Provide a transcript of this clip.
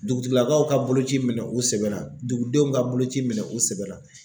Dugutigilakaw ka boloci minɛ u sɛbɛ la dugudenw ka boloci minɛ o sɛbɛn la.